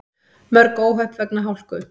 Mörg óhöpp vegna hálku